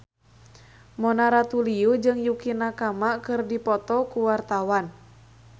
Mona Ratuliu jeung Yukie Nakama keur dipoto ku wartawan